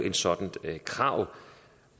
et sådant krav